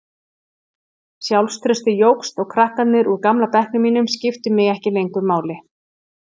Sjálfstraustið jókst og krakkarnir úr gamla bekknum mínum skiptu mig ekki lengur máli.